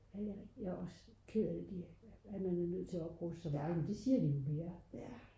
jeg er også ked af at man er nødt til at opruste så meget men det siger de jo vi er